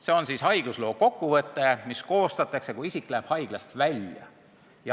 See on haigusloo kokkuvõte, mis koostatakse, kui isik läheb haiglast välja.